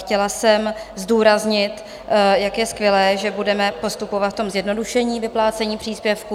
Chtěla jsem zdůraznit, jak je skvělé, že budeme postupovat v tom zjednodušení vyplácení příspěvků.